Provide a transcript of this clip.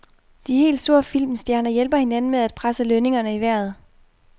De helt store filmstjerner hjælper hinanden med at presse lønningerne i vejret.